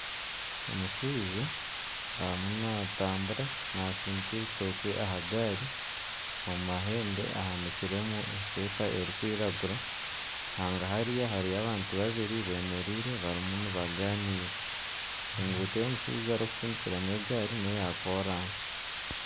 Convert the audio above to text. Omushaija arimu natambura natsindika ebitookye aha gaari omu mahembe ahanikiremu esweeta erikwiragura hagahari hariyo abantu babiri bemereire barimu nibaganiira enguuto ei omushaija erikutsindikiramu egaari neya koransi.